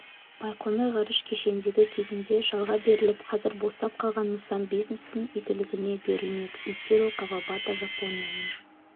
байқоңыр ғарыш кешеніндегі кезінде жалға беріліп қазір босап қалған нысан бизнестің игілігіне берілмек итиро кавабата жапонияның